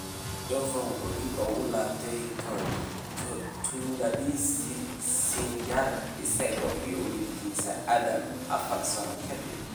Jovan wuxuu dib ugu laabtay tuuladiisii ​​Sinjar isaga iyo wiilkiisa Adam, afar sano ka dib.